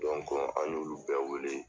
an y'olu bɛɛ wele.